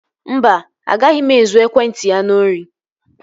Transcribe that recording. Mba, agaghị m ezu ekwentị ya n'ori